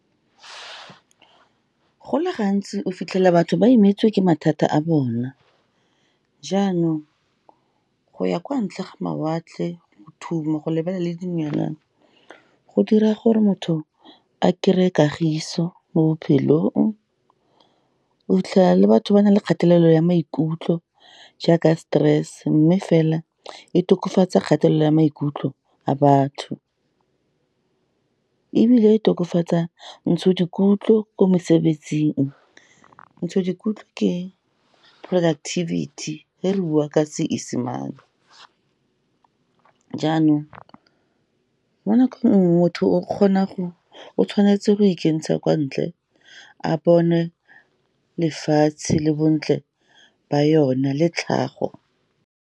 Go le gantsi, o fitlhela batho ba imetswe ke mathata a bona, jaanong go ya kwa ntle ga mawatle, go thuma, go lebella le dinonyane, go dira gore motho a kry-e kagiso mo bophelong. O fitlhelela le batho ba na le kgatelelo ya maikutlo jaaka stress, mme fela e tokafatsa kgatelelo ya maikutlo a batho, ebile e tokafatsa ko mosebetsing. Ke productivity fa re bua ka Seesemane. Jaanong, mo nakong enngwe motho o tshwanetse go ikentsha kwa ntle, a bone lefatshe le bontle ba yona, le tlhago.